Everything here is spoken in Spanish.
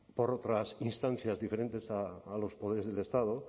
por otras instancias diferentes a los poderes del estado